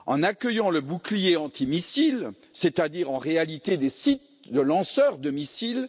En accueillant le bouclier antimissile, c'est à dire, en réalité, des sites de lanceurs de missiles.